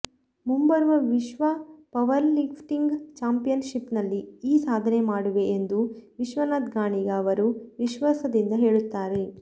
ಮುಂಬರುವ ವಿಶ್ವ ಪವರ್ಲಿಫ್ಟಿಂಗ್ ಚಾಂಪಿಯನ್ಶಿಪ್ನಲ್ಲಿ ಈ ಸಾಧನೆ ಮಾಡುವೆ ಎಂದು ವಿಶ್ವನಾಥ ಗಾಣಿಗ ಅವರು ವಿಶ್ವಾಸದಿಂದ ಹೇಳುತ್ತಾರೆ